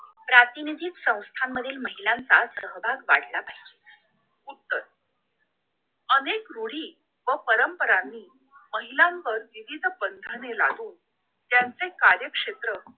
प्रातिनिधिक संथामधील महिलांना सहवास वाढला पाहिजे नाही तर अनेक रूढी व परंपरांनी महिलांवर विविध बंधने लादून त्यांचे कार्यक्षेत्र